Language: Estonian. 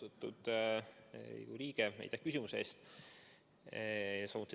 Austatud Riigikogu liige, aitäh küsimuse eest!